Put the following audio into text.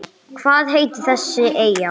Hvað heitir þessi eyja?